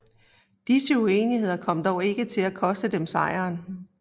Disse uenigheder kom dog ikke til at koste dem sejren